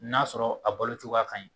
N'a sɔrɔ a balocokoya ka ɲi.